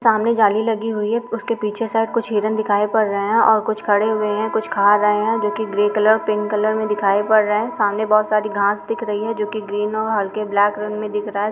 सामने जाली लगी हुई है। उसके पीछे शायद कुछ हिरन दिखाई पड़ रहे हैं और कुछ खड़े हुए हैं और कुछ खा रहे हैं जो कि ग्रे कलर पिंक कलर में दिखाई पड़ रहे हैं। सामने बोहोत घास दिख रही है जो कि ग्रीन और हल्के ब्लैक रंग में दिख रहा है।